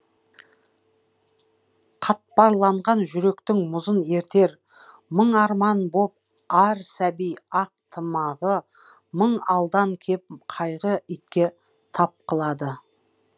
қатпарланған жүректің мұзын ертер мың арман боп ар сәби ақ тымағы мың алдан кеп қайғы итке тап қылады